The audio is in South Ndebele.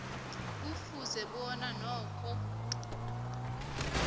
kufuze bona nakho